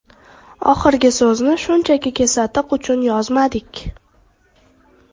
Oxirgi so‘zni shunchaki kesatiq uchun yozmadik.